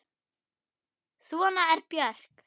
Svona er Björk.